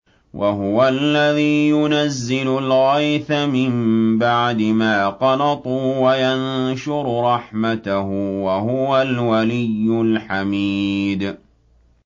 وَهُوَ الَّذِي يُنَزِّلُ الْغَيْثَ مِن بَعْدِ مَا قَنَطُوا وَيَنشُرُ رَحْمَتَهُ ۚ وَهُوَ الْوَلِيُّ الْحَمِيدُ